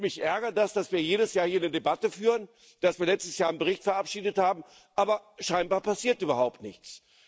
Mich ärgert, dass wir jedes Jahr hier die Debatte führen, dass wir letztes Jahr einen Bericht verabschiedet haben, aber scheinbar passiert überhaupt nichts.